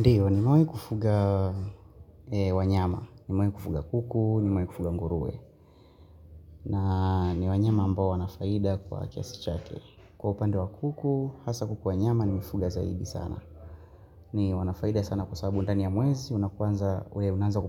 Ndiyo, nimewahi kufuga wanyama, nimewahi kufuga kuku, nimewahi kufuga nguruwe. Na ni wanyama ambao wana faida kwa kiasi chake. Kwa upande wa kuku, hasa kuku wa nyama, nimewafuga zaidi sana. Ni wenye faida sana kwa sababu ndani ya mwezi, unaanza